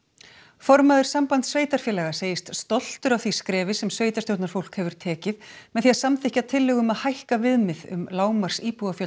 formaður Sambands sveitarfélaga segist stoltur af því skrefi sem sveitarstjórnarfólk hefur tekið með því að samþykkja tillögu um að hækka viðmið um lágmarksíbúafjölda